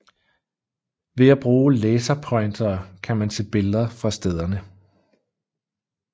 Ved at bruge laserpointere kan man se billeder fra stederne